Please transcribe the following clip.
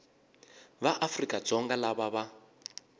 va afrika dzonga lava va